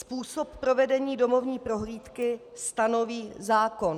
Způsob provedení domovní prohlídky stanoví zákon.